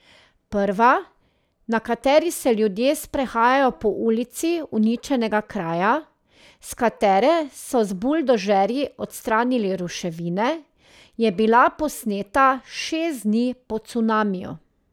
Prva, na kateri se ljudje sprehajajo po ulici uničenega kraja, s katere so z buldožerji odstranili ruševine, je bila posneta šest dni po cunamiju.